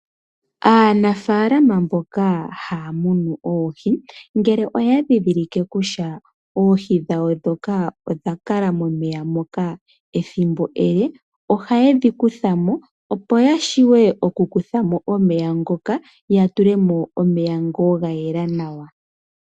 Aanafalama haya munu oohi, ngele oya dhidhilike kusha oohi dhawo dhoka odha kala momeya moka ethimbo ele, ohaye dhi kutha mo, opo ya shiwe oku kutha mo omeya ngoka ya tulemo omeya ngo ga yela nawa.